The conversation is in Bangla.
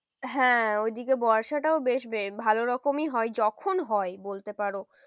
হ্যাঁ ওইদিকে বর্ষাটাও বেশ ভালো রকমই হয় যখন হয় বলতে পারো।